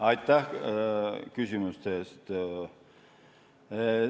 Aitäh küsimuste eest!